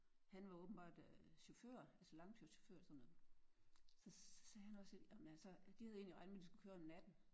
Han var åbenbart øh chauffør altså langtidschauffør eller sådan noget og så sagde han også: Ej men altså de havde egentlig regnet med at de skulle køre om natten